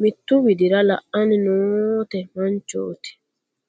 mittu widira la'anni noote manchooti..